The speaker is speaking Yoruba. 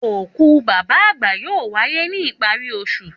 Òkú bàbá àgbà yóò wáyé ní ìparí osù